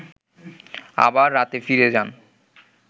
আবার রাতে ফিরে যান